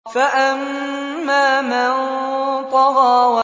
فَأَمَّا مَن طَغَىٰ